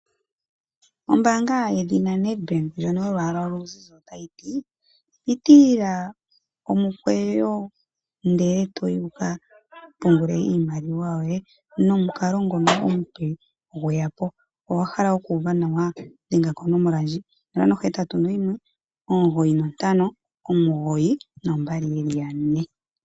Ombaanga yedhina Nedbank, ndjono yolwaala oluzizi, ota yi tii: Pitilila omukweyo ndele to yi wuka pungule iimaliwa yoye nomukalo ngono omupe opo gweyako. Owahala okuuva nawa? Dhenga konomola ndjika; 081 959 2222.